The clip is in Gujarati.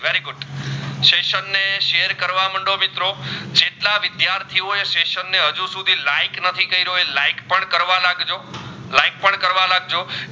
share કરવા માંડો મિત્રો જેટલા વિદ્યાર્થીઓ એ સેસન ને આજુ સુધી like નથી કર્યું હોય like કરવા લાગજો